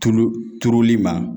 Tulu turuli ma.